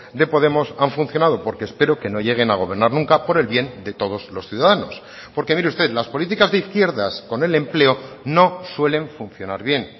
de podemos han funcionado porque espero que no lleguen a gobernar nunca por el bien de todos los ciudadanos porque mire usted las políticas de izquierdas con el empleo no suelen funcionar bien